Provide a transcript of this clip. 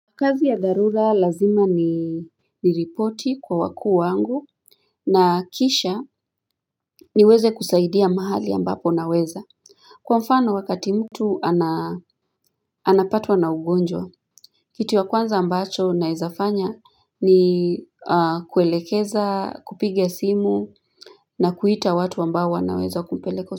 Kazi ya dharura lazima ni ni ripoti kwa wakuu wangu na kisha niweze kusaidia mahali ambapo naweza Kwa mfano wakati mtu anapatwa na ugonjwa Kitu ya kwanza ambacho naeza fanya ni kuelekeza, kupiga simu na kuita watu ambao naweza kumpeleka.